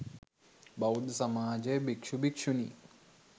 බෞද්ධ සමාජය භික්ෂු, භික්ෂුණී,